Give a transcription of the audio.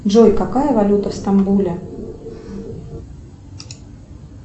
джой какая валюта в стамбуле